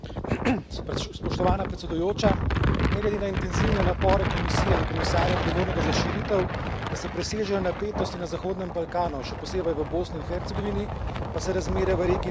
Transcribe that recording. Spoštovana predsedujoča, ne glede na intenzivne napore Komisije in komisarja, odgovornega za širitev, da se presežejo napetosti na Zahodnem Balkanu, še posebej v Bosni in Hercegovini, pa se razmere v regiji ne umirjajo.